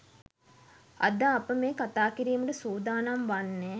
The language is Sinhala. අද අප මේ කතා කිරීමට සූදානම් වන්නේ